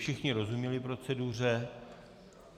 Všichni rozuměli proceduře.